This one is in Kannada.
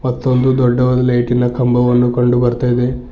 ಮತ್ತು ಒಂದು ದೊಡ್ಡವಾದ ಲೈಟಿನ ಕಂಬವನ್ನು ಕಂಡು ಬರ್ತಾ ಇದೆ.